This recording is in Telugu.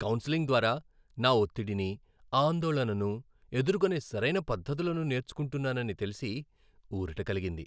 కౌన్సెలింగ్ ద్వారా, నా ఒత్తిడిని, ఆందోళనను ఎదుర్కొనే సరైన పద్ధతులను నేర్చుకుంటున్నానని తెలిసి ఊరట కలిగింది.